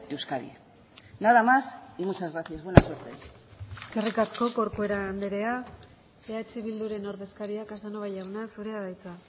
de euskadi nada más y muchas gracias buena suerte eskerrik asko corcuera jauna eh bilduren ordezkaria casanova jauna zurea da hitza